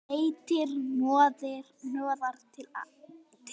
Nettir hnoðrar til og frá.